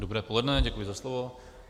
Dobré poledne, děkuji za slovo.